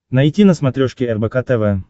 найти на смотрешке рбк тв